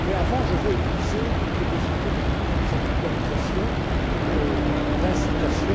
mais je veux, avant toute chose, épuiser toutes les possibilités de contractualisation, d'incitation.